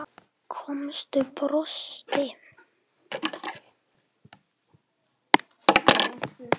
Konan brosti.